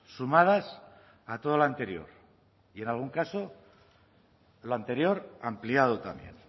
sumadas a todo lo anterior y en algún caso lo anterior ampliado también